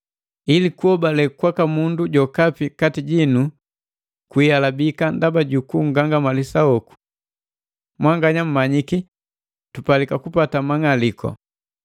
Ili kuhobale kwaka mundu jokapi kati jinu kwiialabika ndaba ju kung'alika hoku. Mwanganya mmanyiki tupalika kupata mang'aliku.